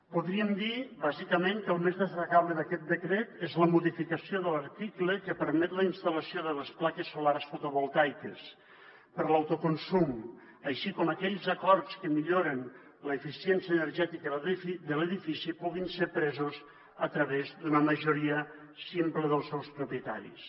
podríem dir bàsicament que el més destacable d’aquest decret és la modificació de l’article que permet que la instal·lació de les plaques solars fotovoltaiques per a l’autoconsum així com que aquells acords que milloren l’eficiència energètica de l’edifici puguin ser presos a través d’una majoria simple dels seus propietaris